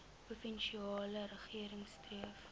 provinsiale regering streef